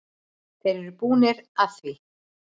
Þeir eru búnir að því.